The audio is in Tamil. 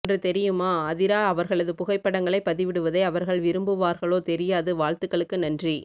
ஒன்று தெரியுமா அதிரா அவர்களது புகைப்படங்களைப் பதிவிடுவதை அவர்கள் விரும்புவார்களோ தெரியாது வாழ்த்துகளுக்கு நன்றி